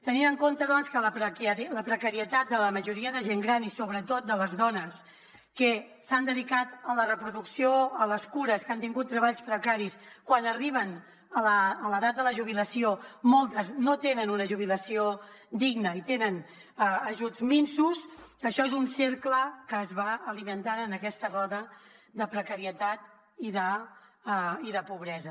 tenint en compte doncs la precarietat de la majoria de gent gran i sobretot de les dones que s’han dedicat a la reproducció a les cures que han tingut treballs precaris quan arriben a l’edat de la jubilació moltes no tenen una jubilació digna i tenen ajuts minsos això és un cercle que es va alimentant en aquesta roda de precarietat i de pobresa